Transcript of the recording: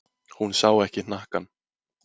Hún sá ekki hnakkann.